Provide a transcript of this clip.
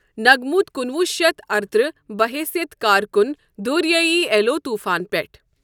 نَگموت کُنوُہ شیتھ ارترہ بہَ حیثیت کارکُن دوریای ایلو توفان پؠٹھ ۔